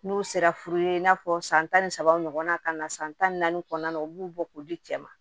N'u sera furu ye i n'a fɔ san tan ni saba ɲɔgɔnna ka na san tan ni naani kɔnɔna na u b'u bɔ k'u di cɛ ma